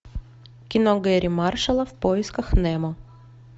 кино герри маршала в поисках немо